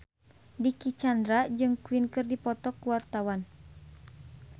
Dicky Chandra jeung Queen keur dipoto ku wartawan